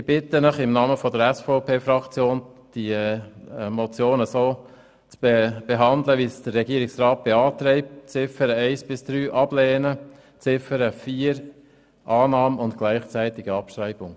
Ich bitte Sie im Namen der SVP-Fraktion, die Motion wie vom Regierungsrat beantragt zu behandeln, das heisst Ablehnung der Ziffern 1 bis 3 und Annahme von Ziffer 4 bei gleichzeitiger Abschreibung.